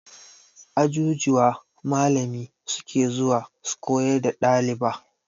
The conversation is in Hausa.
A ajujuwa malami suke zuwa su koyar da ɗaliba